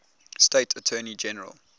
state attorney general